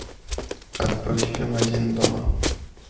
открой фильм один дома